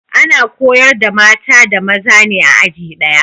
Ana koyar da mata da maza ne a aji daya